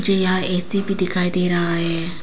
जी हां ए_सी भी दिखाई दे रहा है।